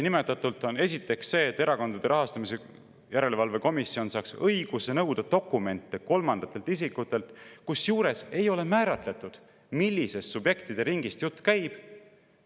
Esiteks see, et Erakondade Rahastamise Järelevalve Komisjon saaks õiguse nõuda dokumente kolmandatelt isikutelt, kusjuures ei ole määratletud, millisest subjektide ringist jutt käib.